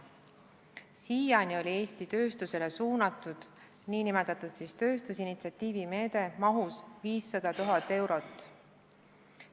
Siiani oli Eesti tööstusele suunatud nn tööstusinitsiatiivi meetme maht 500 000 eurot.